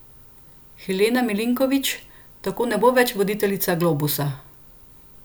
Helena Milinković tako ne bo več voditeljica Globusa.